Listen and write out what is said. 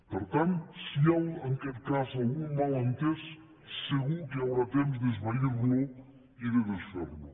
per tant si hi ha en aquest cas algun malentès segur que hi haurà temps d’esvairlo i de desferlo